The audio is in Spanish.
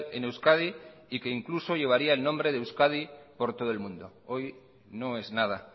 en euskadi y que incluso llevaría el nombre de euskadi por todo el mundo hoy no es nada